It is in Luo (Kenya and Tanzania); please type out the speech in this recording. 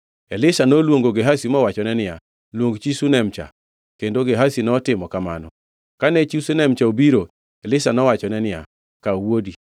Elisha noluongo Gehazi mowachone niya, “Luong chi Shunem-cha.” Kendo Gehazi notimo kamano. Kane chi Shunam cha obiro, Elisha nowachone niya, “Kaw wuodi.”